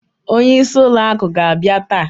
Onye isi ụlọ akụ ga abia taa.